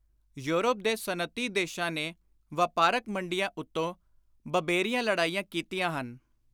Europe ਦੇ ਸਨਅਤੀ ਦੇਸ਼ਾਂ ਨੇ ਵਾਪਾਰਕ ਮੰਡੀਆਂ ਉੱਤੋਂ ਬਬੇਰੀਆਂ ਲੜਾਈਆਂ ਕੀਤੀਆਂ ਹਨ।